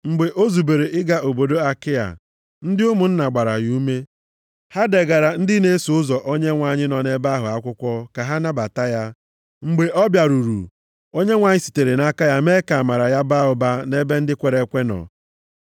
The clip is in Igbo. Mgbe o zubere ịga obodo Akaịa, ndị ụmụnna gbara ya ume. Ha degaara ndị na-eso ụzọ Onyenwe anyị nọ nʼebe ahụ akwụkwọ ka ha nabata ya. Mgbe ọ bịaruru, Onyenwe anyị sitere nʼaka ya mee ka amara ya baa ụba nʼebe ndị kwere ekwe nọ.